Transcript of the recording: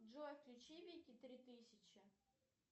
джой включи вики три тысячи